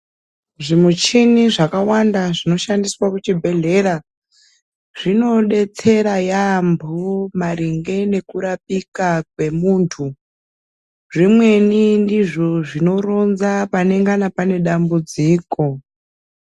Zvimuchini zvakawanda zvinoshandiswa kuchibhedhlera zvinodetsera yambo maringe ngekurapika kwemuntu, zvimweni ndizvo zvinoronza panengana pane dambudziko.